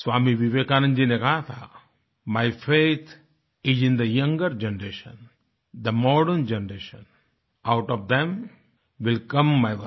स्वामी विवेकानंद जी ने कहा था my faith is in the younger generation the modern generation out of them will come my workers